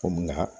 Komi nka